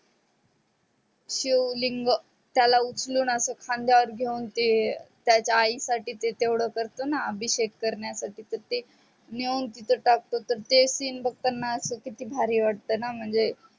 शिवलिंग त्याला उचलून अस खांदया वर घेऊन ते त्याच्या आई साठी ते तेवड कारतणा अभिषेक कारण्या साठी तर ते नेऊन तिथे टाकतो तर ते scene बगताना अस किती भारी वाटतन म्हणजे